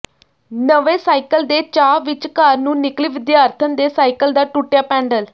ਨਵੇਂ ਸਾਈਕਲ ਦੇ ਚਾਅ ਵਿੱਚ ਘਰ ਨੂੰ ਨਿਕਲੀ ਵਿਦਿਆਰਥਣ ਦੇ ਸਾਈਕਲ ਦਾ ਟੁਟਿਆ ਪੈਡਲ